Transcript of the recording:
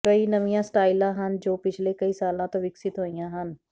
ਕਈ ਨਵੀਆਂ ਸਟਾਈਲਾਂ ਹਨ ਜੋ ਪਿਛਲੇ ਕਈ ਸਾਲਾਂ ਤੋਂ ਵਿਕਸਿਤ ਹੋਈਆਂ ਹਨ